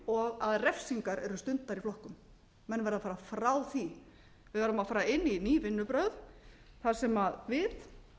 og að refsingar eru stundaðar í flokkum menn verða að fara frá því við verðum að fara inn í ný vinnubrögð þar sem við